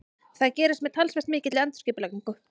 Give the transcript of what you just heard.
Það gerist með talsvert mikilli endurskipulagningu.